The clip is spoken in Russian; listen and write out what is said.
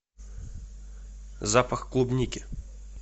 запах клубники